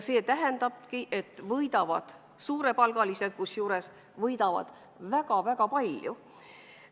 See tähendabki, et võidavad suurepalgalised, kusjuures võidavad väga-väga palju.